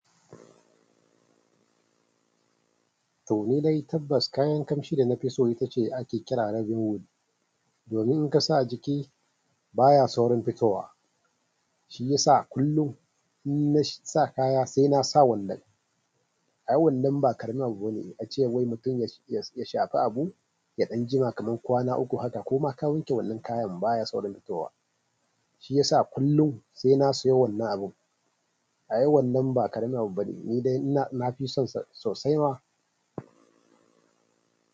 To ni dai tabbas kayan ƙamshi da na fi so ita ce ake kira Arabian wood. Domin in ka sa a jiki baya saurin fitowa, shi ya sa kullum inna sa kaya sai na sa wannan. Ay wannan ba ƙaramin abu bane. A ce wai mutum ya shafi abu ya ɗan jima kamar kwana uku haka ko ma ka wanke wannan kayan baya saurin fitowa. Shiyasa kullun sai na siyo wannan abun ay wannan ba ƙaramin abu bane. Ni dai na fi son sa sosai ma.